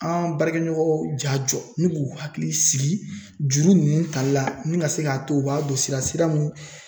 An baarakɛɲɔgɔnw ja jɔ ni k'u hakili sigi juru nunnu tali la ni ka se k'a to u b'a don sira sira mun